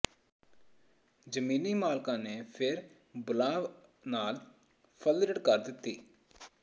ਜ਼ਮੀਨੀ ਮਾਲਕਾਂ ਨੇ ਫਿਰ ਬੁਲਾਂਵ ਨਾਲ ਫਲਰਟ ਕਰ ਦਿੱਤਾ